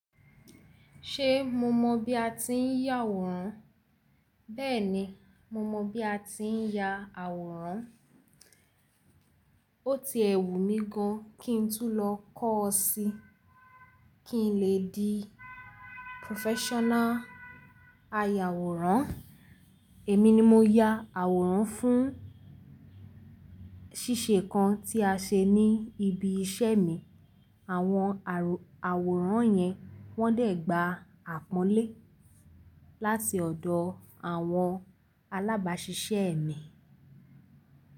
Ṣé mo mọ̀ bí a ti ń ya àwòrán? Bẹ́ẹ̀ni, mo mọ̀ bí a ti ń ya àwòrán. Ó ti ẹ̀wù mí gan kín tún lọ kọ́ ọ́ sí kí n lè di professional ayàwòrán. Èmi ni mo ya àwòrán fún ṣíṣe kan tí a ṣe ní ibi iṣẹ́ mi. Àwọn àwòrán yẹn wọ́n dẹ̀ gba àpọ́nlé láti ọ̀dọ̀ àwọn alábáṣiṣẹ́ mi.